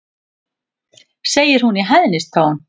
segir hún í hæðnistón.